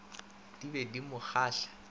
di be di mo kgahla